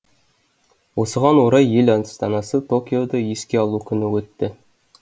осыған орай ел астанасы токиода еске алу күні өтті